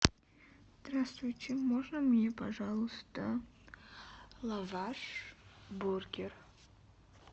здравствуйте можно мне пожалуйста лаваш бургер